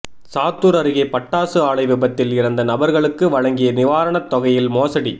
சாத்தூர் அருகே பட்டாசு ஆலை விபத்தில் இறந்த நபர்களுக்கு வழங்கிய நிவாரணத் தொகையில் மோசடி